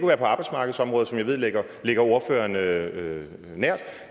være på arbejdsmarkedsområdet som jeg ved ligger ligger ordføreren nært